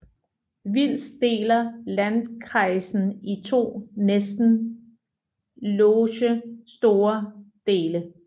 Vils deler landkreisen i to næsten loge store dele